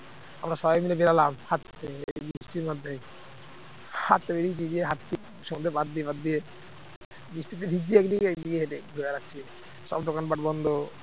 আমরা সবাই মিলে বেড়ালাম হাঁটতে এই বৃষ্টির মধ্যে হাঁটতে বেরিয়েছি দিয়ে হাঁটছি সমুদ্রের পার দিয়ে পার দিয়ে, বৃষ্টিতে ভিজছি একদিকে একদিকে হেঁটে ঘুরে বেড়াচ্ছে সব দোকানপাট বন্ধ